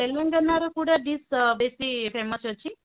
ତେଲେଙ୍ଗାନା କୋଉଟା dish ବେଶୀ famous ଅଛି